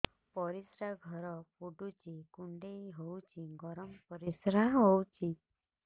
ପରିସ୍ରା ଘର ପୁଡୁଚି କୁଣ୍ଡେଇ ହଉଚି ଗରମ ପରିସ୍ରା ହଉଚି